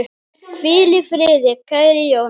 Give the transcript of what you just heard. Hvíl í friði, kæri Jón.